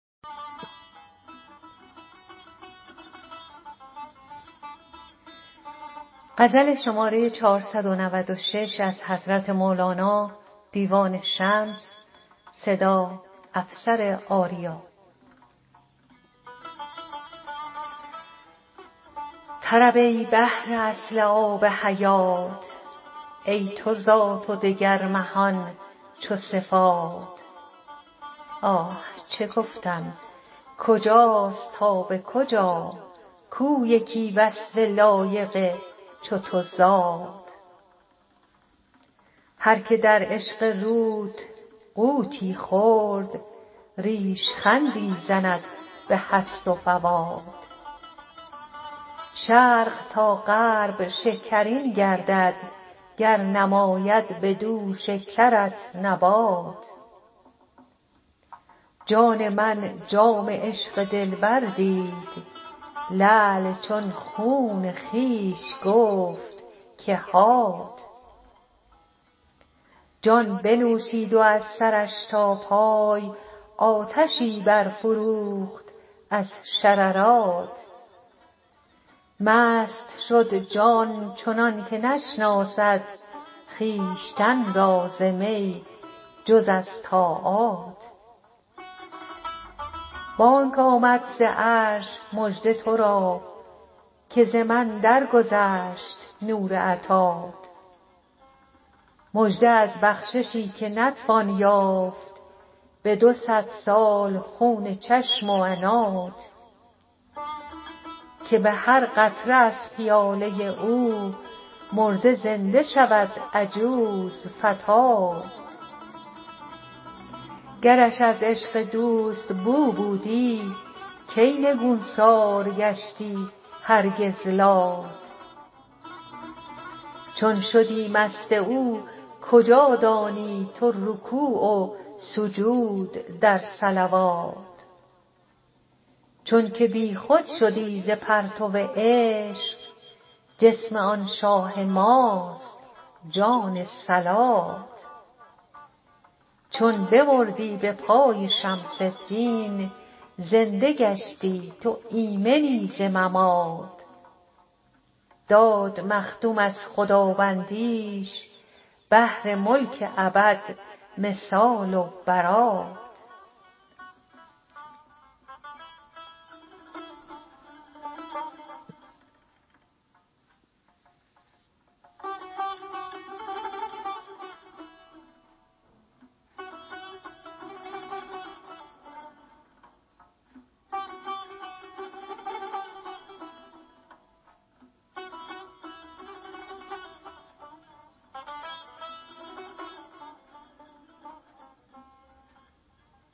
طرب ای بحر اصل آب حیات ای تو ذات و دگر مهان چو صفات اه چه گفتم کجاست تا به کجا کو یکی وصف لایق چو تو ذات هر که در عشق روت غوطی خورد ریش خندی زند به هست و فوات شرق تا غرب شکرین گردد گر نماید بدو شکرت نبات جان من جام عشق دلبر دید لعل چون خون خویش گفت که هات جان بنوشید و از سرش تا پای آتشی برفروخت از شررات مست شد جان چنان که نشناسد خویشتن را ز می جز از طاعات بانگ آمد ز عرش مژده تو را که ز من درگذشت نور عطات مژده از بخششی که نتوان یافت به دو صد سال خون چشم و عنات که به هر قطره از پیاله او مرده زنده شود عجوز فتات گرش از عشق دوست بو بودی کی نگوسار گشتی هرگز لات چون شدی مست او کجا دانی تو رکوع و سجود در صلوات چونک بیخود شدی ز پرتو عشق جسم آن شاه ماست جان صلات چو بمردی به پای شمس الدین زنده گشتی تو ایمنی ز ممات داد مخدوم از خداوندیش بهر ملک ابد مثال و برات